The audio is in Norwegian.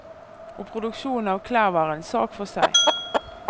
Og produksjonen av klær var en sak for seg.